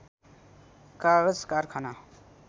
कागज कारखाना